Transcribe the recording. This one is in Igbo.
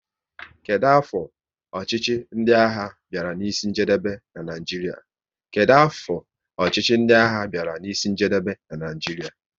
Kedụ afọ ọchịchị ndị agha bịara n'isi njedebe n'Naijiria?